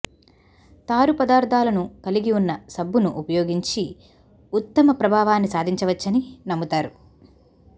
తారు పదార్ధాలను కలిగి ఉన్న సబ్బును ఉపయోగించి ఉత్తమ ప్రభావాన్ని సాధించవచ్చని నమ్ముతారు